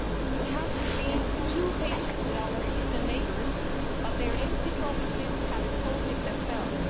We have been too patient with our Eastern neighbours, but their empty promises have exhausted themselves.